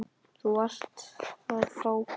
Þú varst að fá bréf.